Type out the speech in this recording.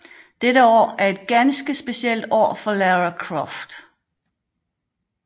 Dette år er et ganske specielt år for Lara Croft